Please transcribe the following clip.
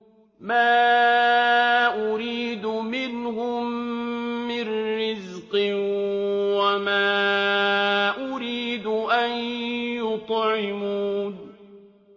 مَا أُرِيدُ مِنْهُم مِّن رِّزْقٍ وَمَا أُرِيدُ أَن يُطْعِمُونِ